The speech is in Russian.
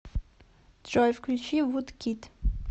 джой включи вудкид